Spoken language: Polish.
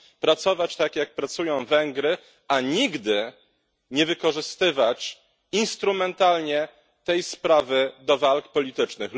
Pracować tak, jak pracują Węgry, a nigdy nie wykorzystywać instrumentalnie tej sprawy do walk politycznych.